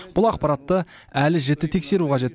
бұл ақпаратты әлі жіті тексеру қажет